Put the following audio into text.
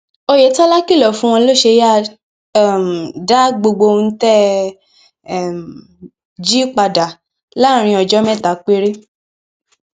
oyetola kìlọ fún wọn lọs e yáa um dá gbogbo ohun tẹ um ẹ jí padà láàrin ọjọ mẹta péré